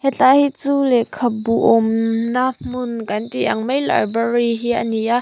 he lai hi chu lehkha bu awm na hmun kan tih ang mai library hi ani a.